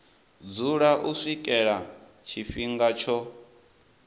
dzula u swikela tshifhinga tsho